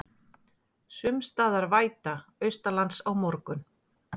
Sums staðar væta austanlands á morgun